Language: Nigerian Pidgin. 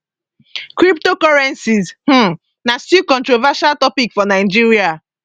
cryptocurrencies um na still controversial topic for nigeria